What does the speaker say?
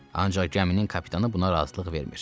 Ancaq gəminin kapitanı buna razılıq vermir.